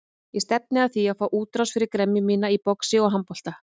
Ég stefni að því að fá útrás fyrir gremju mína í boxi og handbolta.